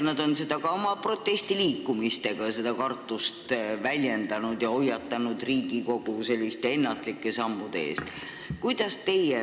Nad on oma protestiliikumisega seda kartust väljendanud ja hoiatanud Riigikogu selliste ennatlike sammude eest.